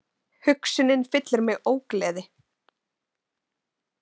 Hugsunin fyllir mig ógleði.